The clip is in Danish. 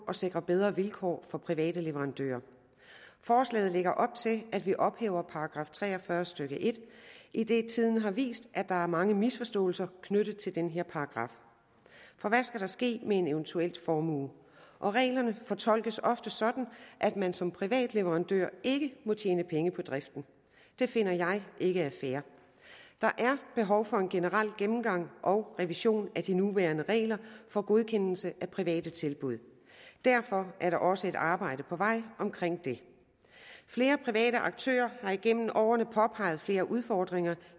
at sikre bedre vilkår for private leverandører forslaget lægger op til at vi ophæver § tre og fyrre stykke en idet tiden har vist at der er mange misforståelser knyttet til den her paragraf for hvad skal der ske med en eventuel formue reglerne fortolkes ofte sådan at man som privat leverandør ikke må tjene penge på driften det finder jeg ikke er fair der er behov for en generel gennemgang og revision af de nuværende regler for godkendelse af private tilbud derfor er der også et arbejde på vej om det flere private aktører har igennem årene påpeget flere udfordringer